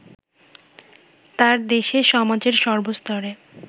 তাঁর দেশে সমাজের সর্বস্তরে